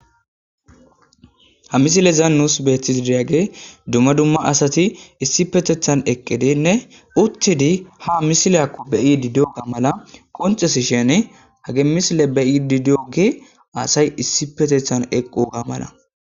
Ha misile zaannus beetthis diiyage dumma dumma asati issi petethan eqqidinne uttidi ha misileakko beyi didi7o ga mala qoncesi shene hagemisile beyi didi7oge asay issi petethan eqquga mala.